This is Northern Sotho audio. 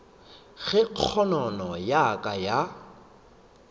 ge kgonono ya ka ya